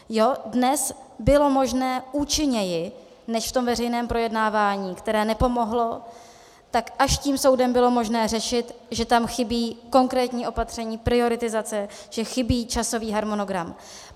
Dnes bylo možné účinněji než v tom veřejném projednávání, které nepomohlo, tak až tím soudem bylo možné řešit, že tam chybí konkrétní opatření, prioritizace, že chybí časový harmonogram.